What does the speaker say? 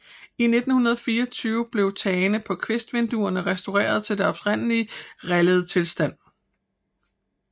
I 1924 blev tagene på kvistvinduerne restaureret til deres oprindelige rillede tilstand